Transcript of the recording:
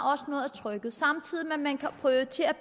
trykket samtidig med at man kan prioritere